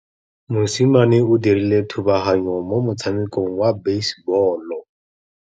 Mosimane o dirile thubaganyô mo motshamekong wa basebôlô.